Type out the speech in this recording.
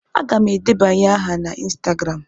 Aga m edebanye aha na ịnstagram.